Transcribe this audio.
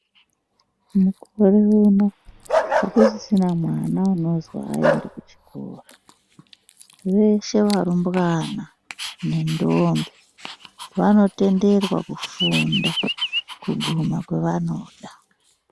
Mukore uno hakusisina mwana unozwi haaendi kuchikora. Veshe varumbwana nentombi, vanotenderwa kufunda kuguma kwevanoda.